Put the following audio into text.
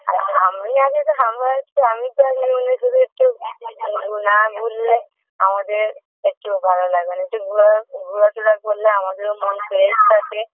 আর আমি আগে তো আমার একটু আমি তো আগে শুধু একটু না ঘুরলে আমাদের একটুও ভালো লাগে না একটু ঘুরা ঘুরাফেরা করলে আমাদেরও মন fresh থাকে